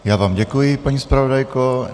Já vám děkuji, paní zpravodajko.